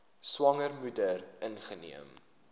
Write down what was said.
swanger moeder ingeneem